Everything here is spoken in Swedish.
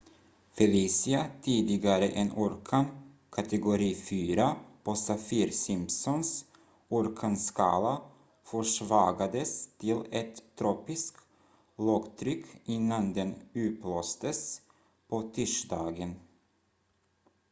felicia tidigare en orkan kategori 4 på saffir-simpsons orkanskala försvagades till ett tropisk lågtryck innan den upplöstes på tisdagen